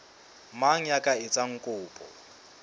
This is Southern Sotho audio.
mang ya ka etsang kopo